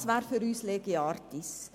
Das wäre für uns lege artis.